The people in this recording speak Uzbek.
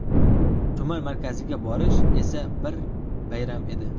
Tuman markaziga borish esa bir bayram edi.